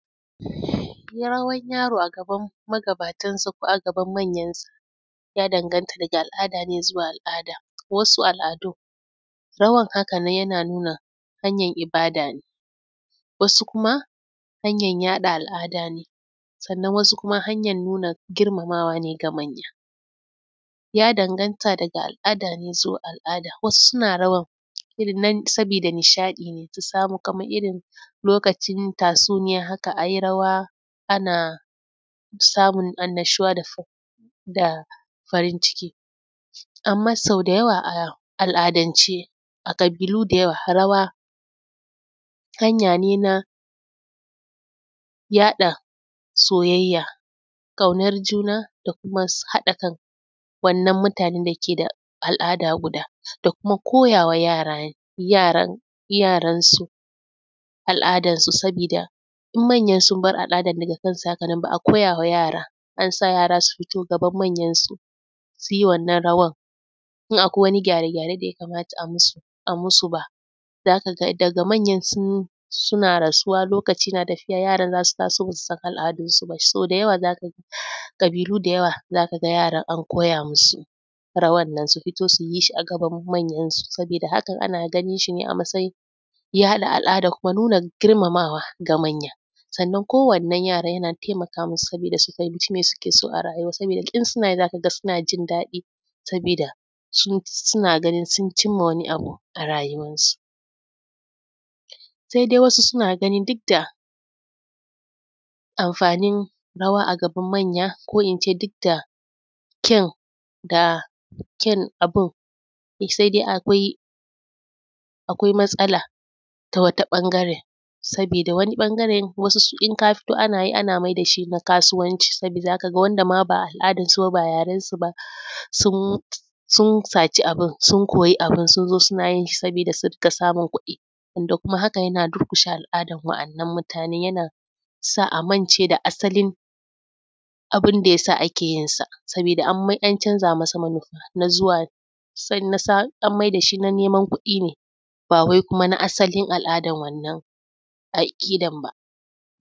Rawan yaro a gaban magatansa ko a gaban manyansa ya danganta daga al'ada ne zuwa alada, a wasu al'adu rawan haka nan yana nuna hanyr ibada ne. Wasu Kuma hanyar yaɗa al'ada ne sannan wasu kuma hanyar nuna girmamawa ne ga manya. Ya danganta daga al'ada ne zuwa al'ada. Wasu suna rawar irin nan saboda nishaɗi ne kamar irin lokacin tatsuniya haja a yi rawa ana samun annashuwa da farin ciki. Amma sau da yawa a al'adance a ƙabilu da yawa rawa hanya ne na yaɗa soyayya kaunar juna da kuma haɗa kana wannan mutanen da ke da al'ada guda da kuma koya wa yaranau al'adansu, Saboda idan manyansu sun bar al'adar haka nan ba a koyawa yara an sa yara su yi gaban manyansu su yi wannan rawar idab akwai gyare-gyaren da ya kamata a yi musu ba a yi musu ba. Daga manyan suna rasu lokaci za su ta so ba su san al'adunsu ba. Da yawa za ka ga ƙabilu da yawa za ka ga yara an koya musu rawan nan su fito su yi a gaban manyansu. Saboda hakan ana ganin shi ne a matsayin ya haɗa al'adar da kuma nuna girmamawa ga manya. Sannan kuma waɗannan yaran yana taikonsu su fahimci me suke so a rayuwarsu, tun suna yi za ka ga suna jin daɗi saboda suna ganin sun cimma wani abu a rayuwarsu. Sai dai wa asu suna ganin duk da amfanin rawa a gaban manya ko duk da ƙyaun abun, sai dai akwai matsala ta wata ɓangaren saboda wata ɓangaren wssu in ka fito ana maida shi na kasuwanci Saboda haka, wanda ma ba al'adarsu ba ba yarensu ba sun saci abun, sun koyi abun son zo suna yin shi saboda su rika samun kuɗi. Wanda hakan yana durkushe al'adar waɗannan mutanen yana sa a mance da asalin abun da yasa ake yinsa, saboda an canza masa manufa na zuwa an mauda shi na neman kuɗi ne ba wai kuma na asalin al'adan wannan ba aƙidar ba.